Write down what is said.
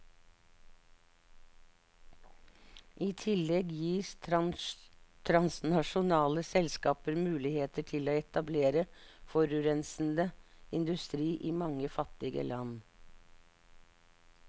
I tillegg gis transnasjonale selskaper muligheter til å etablere forurensende industri i mange fattige land.